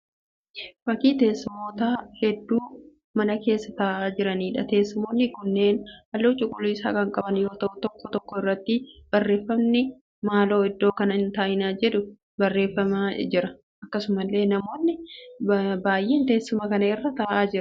Fakkii teessumoota hedduu mana keessa taa'aa jiraniidha. Teessumoonni kunneen halluu cuquliisaa kan qaban yoo ta'u tokko tokko irratti barreeffamni ' maaloo iddoo kana hin taa'iin' jedhu barreeffamee jira. Akkasumallee namoonni baay'een teessuma kana irra ta'aa jiru.